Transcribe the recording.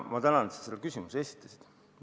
Ma tänan sind, et sa selle küsimuse esitasid!